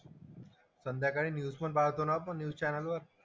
संध्याकाळी न्यूज पण पाहतो ना आपण न्यूज चॅनेलवर.